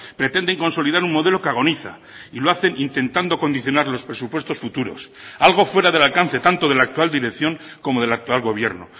pretenden consolidar un modelo que agoniza y lo hacen intentando condicionar los presupuestos futuros algo fuera del alcance tanto de la actual dirección como del actual gobierno